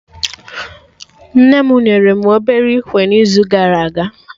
Nne mụ nyere mụ obere ikwe n'izu gara aga